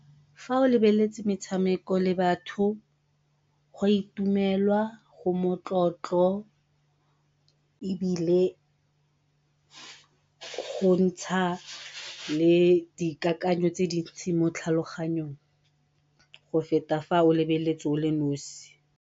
Fa o lebeletse metshameko le batho go a itumelwa go metlotlo, ebile go ntsha le dikakanyo tse dintsi mo tlhaloganyong go feta fa o lebeletse o le nosi.